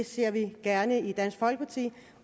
ser vi gerne i dansk folkeparti